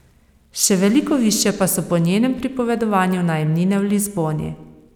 Še veliko višje pa so po njenem pripovedovanju najemnine v Lizboni.